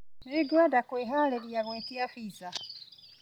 Nĩngwenda kwĩhaarĩria gwĩtia pizza.